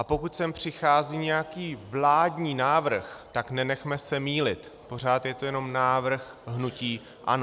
A pokud sem přichází nějaký vládní návrh, tak nenechme se mýlit, pořád je to jenom návrh hnutí ANO.